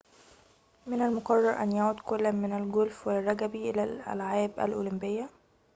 من المقرر أن يعود كل من الجولف والرجبي إلى الألعاب الأولمبية